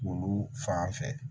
Olu fan fɛ